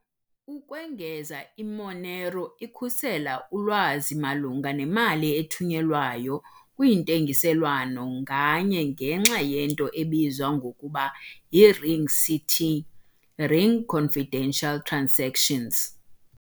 Ukwengeza, i-Monero ikhusela ulwazi malunga nemali ethunyelwayo kwintengiselwano nganye, ngenxa yento ebizwa ngokuba yi-RingCT, Ring Confidential Transactions.